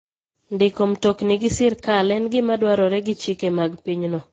Ndiko mtokni gi sirkal en gima dwarore gi chike mag pinyno.